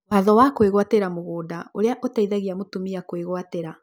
Watho wa kũĩgwatĩra mũgũnda ũrĩa ũteithagia mũtumia kwĩgwatĩra